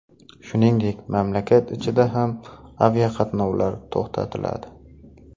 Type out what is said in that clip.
Shuningdek, mamlakat ichida ham aviaqatnovlar to‘xtatiladi.